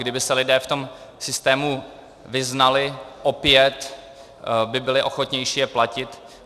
Kdyby se lidé v tom systému vyznali, opět by byli ochotnější je platit.